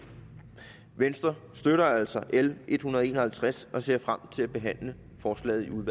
i venstre støtter altså l en hundrede og en og halvtreds og ser frem til at behandle forslaget